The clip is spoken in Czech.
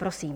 Prosím.